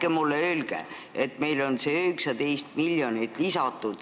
Ärge mulle öelge, et meil on see 19 miljonit lisatud.